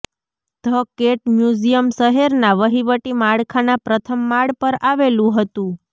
the cat museum શહેરના વહીવટી માળખાના પ્રથમ માળ પર આવેલું હતું